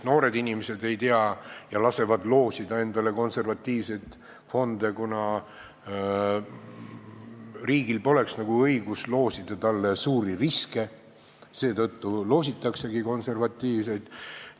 Noored inimesed ei tea asjast eriti palju ja lasevad loosida endale konservatiivseid fonde, aga riigil pole nagu õigust loosida neile suuri riske, seetõttu loositaksegi konservatiivseid.